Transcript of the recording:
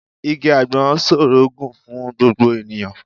Igi àgbọn ṣòro gùn fún gbogbo ènìyàn